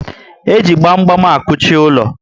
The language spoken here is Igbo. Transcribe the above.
E ji gbam gbam akuchi ulo